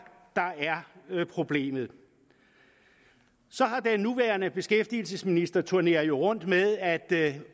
problemet den nuværende beskæftigelsesminister turnerer jo rundt med at